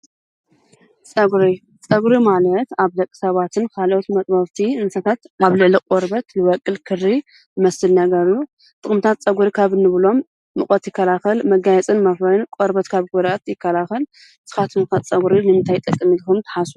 ፀጉሪ ፀጉሪ ማለት ኣብ ደቂ ሰባት ካሊእ መጥበብቲ እንስሳታት ኣብ ልዕሊ ቆርበት ዝበቁል ክሪ ዝመስል እዩ ።ጥቅምታት ፀጉሪ ካብ እንብሎም ሙቀት ይከላከል መጋየፅን ብምኮን ይጠቅም። ንስካትኩም ከ ፀጉሪ ንምንታይ ይጠቅም ኢልኩም ትሓስቡ?